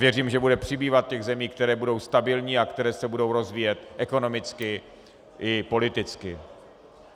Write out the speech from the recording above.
Věřím, že bude přibývat těch zemí, které budou stabilní a které se budou rozvíjet ekonomicky i politicky.